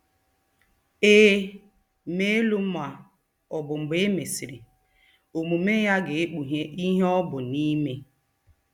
Ee, mee elu ma ọbu mgbe e mesịrị omume ya ga-ekpughe ihe ọ bụ n'ime.